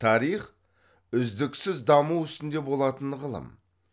тарих үздіксіз даму үстінде болатын ғылым